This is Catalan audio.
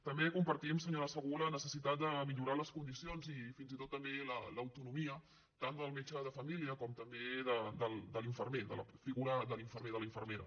també compartim senyora segú la necessitat de millorar les condicions i fins i tot també l’autonomia tant del metge de família com també de l’infermer de la figura de l’infermer o de la infermera